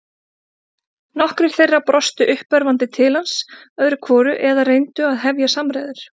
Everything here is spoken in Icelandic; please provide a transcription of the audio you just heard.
Nokkrir þeirra brostu uppörvandi til hans öðru hvoru eða reyndu að hefja samræður.